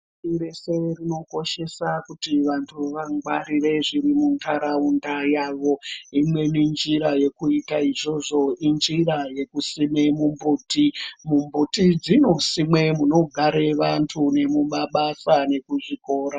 Pashi reshe rinokoshesa kuti vantu vangwarire zviri muntaraunda yavo. Imweni njira yekuita izvozvo injira yekusime mumbuti. Mumbuti dzinosimwe munogare vantu nemumabasa nekuzvikora.